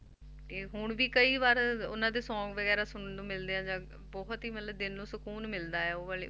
ਤੇ ਹੁਣ ਵੀ ਕਈ ਵਾਰ ਉਹਨਾਂ ਦੇ song ਵਗ਼ੈਰਾ ਸੁਣਨ ਨੂੰ ਮਿਲਦੇ ਆ ਜਾਂ ਬਹੁਤ ਹੀ ਮਤਲਬ ਦਿਲ ਨੂੰ ਸ਼ਕੂਨ ਮਿਲਦਾ ਹੈ ਉਹ ਵਾਲੇ